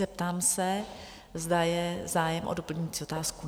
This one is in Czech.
Zeptám se, zda je zájem o doplňující otázku?